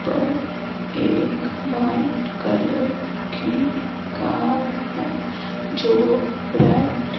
पर एक white colour की कार है जो रेड --